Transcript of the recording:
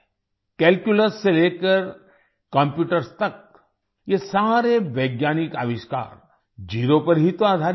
calculus से लेकर computers तक ये सारे वैज्ञानिक आविष्कार ज़ेरो पर ही तो आधारित हैं